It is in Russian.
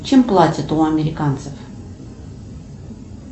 чем платят у американцев